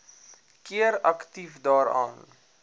keer aktief daaraan